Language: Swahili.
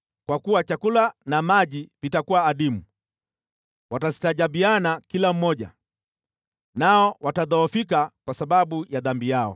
kwa kuwa chakula na maji vitakuwa adimu. Watastajabiana kila mmoja, nao watadhoofika kwa sababu ya dhambi yao.